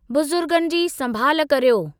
बुज़ुर्गनि जी संभाल करियो।